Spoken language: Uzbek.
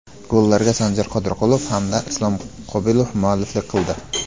Gollarga Sanjar Qodirqulov hamda Islom Qobilov mualliflik qildi.